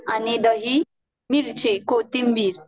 आणि दही मिरची कोथिंबीर